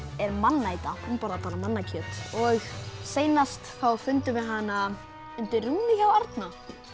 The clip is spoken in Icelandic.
er mannæta hún borðar bara mannakjöt og seinast þá fundum við hana undir rúmi hjá Árna